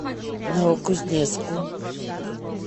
новокузнецку